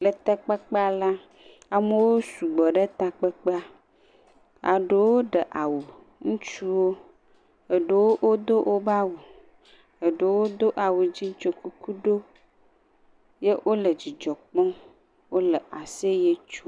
Le takpekpea la, amewo sugbɔ ɖe takpekpea. Eɖewo ɖe awu, ŋutsuwo, aɖewo do woƒe awu, eɖewo Do awu si wodo kuku ɖo ye wole dzidzɔ kpɔm eye wole aseyɛ tsom.